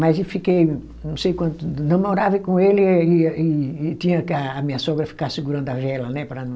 Mas eu fiquei, não sei quanto, namorava com ele e e e tinha que a minha sogra ficar segurando a vela, né, para não...